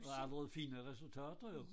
Og allerede fine resultater jo